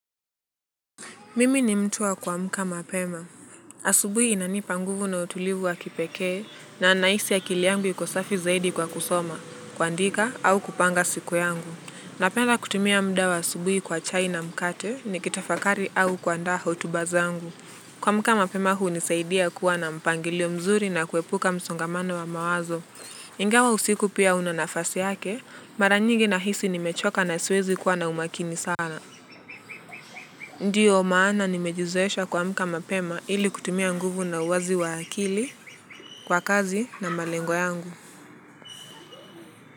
Mimi ni mtu wa kuamka mapema. Asubuhi inanipa nguvu na utulivu wa kipekee na nahisi akili yangu iko kwa safi zaidi kwa kusoma, kuondoka au kupanga siku yangu. Napenda kutumia muda wa asubuhi kwa chai na mkate nikitafakari au kuandaa hotuba zangu. Kuamka mapema hunisaidia kuwa na mpangilio mzuri na kuepuka msongamano wa mawazo. Ingawa usiku pia una nafasi yake, mara nyingi nahisi nimechoka na siwezi kuwa na umakini sana. Ndiyo maana nimejizoesha kuamka mapema ili kutumia nguvu na uwazi wa akili kwa kazi na malengo yangu.